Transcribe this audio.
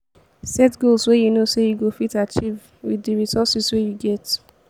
set goals wey you know sey you go fit achieve with di resources wey you get